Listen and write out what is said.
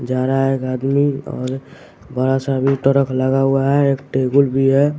जा रहा है एक आदमी और बड़ा सा भी ट्रक लगा हुआ है एक टेबुल भी है।